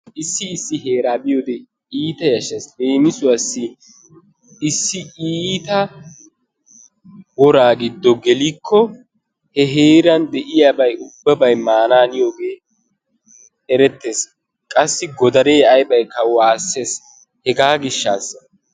Issi issi heeraa biyoode keehippe yashshees. Leemisuwaassi issi iitta woraa giddo gelikko he heeran de'iyaa ubbabay mananiyoogee erettees. Qassi godaree aybayikka waassees. Hegaa giishshasa.